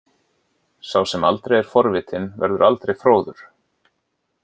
Sá sem aldrei er forvitinn verður aldrei fróður.